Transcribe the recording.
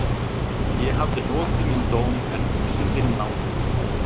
Ég hafði hlotið minn dóm en vísindin náðuðu mig